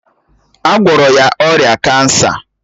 A gwọrọ ya ọrịa kansa